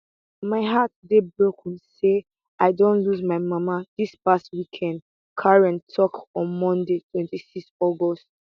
my heart dey broken say i don lose my mama dis past weekend carey tok on monday 26 august